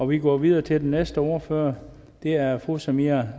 vi går videre til den næste ordfører det er fru samira